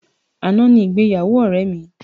Àná ni ìgbéyàwó ọ̀rẹ́ mi.